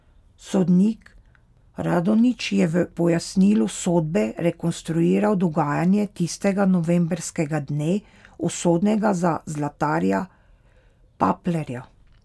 Sodnik Radonjić je v pojasnilu sodbe rekonstruiral dogajanje tistega novembrskega dne, usodnega za zlatarja Paplerja.